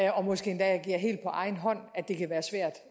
og måske endda agere helt på egen hånd at det kan være svært